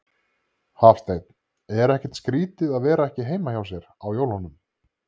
Hafsteinn: Er ekkert skrýtið að vera ekki heima hjá sér á jólunum?